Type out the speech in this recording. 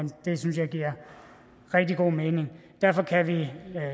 det synes jeg giver rigtig god mening derfor kan vi